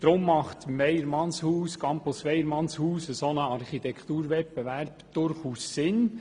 Darum macht beim Campus Weyermannshaus ein Wettbewerb durchaus Sinn.